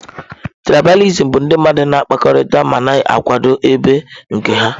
Trịbalìsịm bụ ndị mmadụ na-akpakọrịta ma na-akwado ebo nke ha.